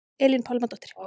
Elín Pálmadóttir